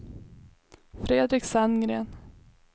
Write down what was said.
Fredrik Sandgren